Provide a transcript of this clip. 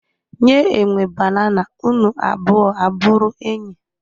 Nye enwe banana unu abụo abụrụ enyi